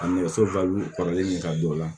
A nɛgɛso kɔrɔlen ka don o la